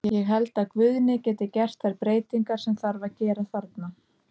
Ég held að Guðni geti gert þær breytingar sem þarf að gera þarna.